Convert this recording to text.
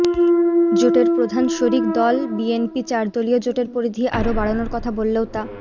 জোটের প্রধান শরিক দল বিএনপি চারদলীয় জোটের পরিধি আরও বাড়ানোর কথা বললেও তা